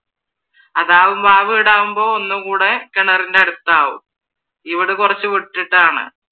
അതാവുമ്പോ ആ വീടാവുമ്പോ ഒന്നും കൂടെ കിണറിൻറെ അടുത്താവും ഈ വീട് കുറച്ചു വിട്ടിട്ടാണ്.